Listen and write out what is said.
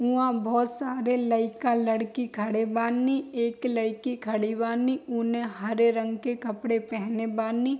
हुआं बहोत सारे लइका-लड़की खड़े बानी एक लएकी खड़ी बानी ओने हरे रंग के कपड़े पहेने बानी।